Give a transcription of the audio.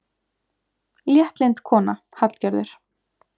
Léttlynd kona, Hallgerður.